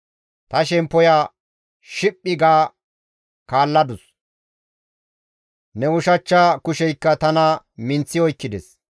Ta shemppoya shiphphi ga kaalladus; ne ushachcha kusheykka tana minththi oykkides.